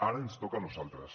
ara ens toca a nosaltres